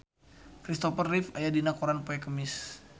Kristopher Reeve aya dina koran poe Kemis